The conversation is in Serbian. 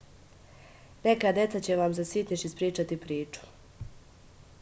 neka deca će vam za sitniš ispričati priču